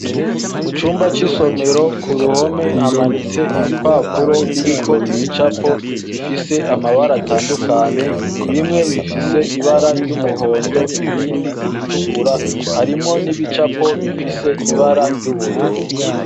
Mu cumba c'isomero ku ruhome hamanitse ibipapuro biriko ibicapo bifise amabara atandukanye bimwe bifise ibara ry'umuhondo ibindi iritukura harimwo n'ibicapo bifise ibara ry'ubururu.